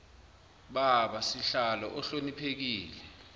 baba sihlalo ohloniphekile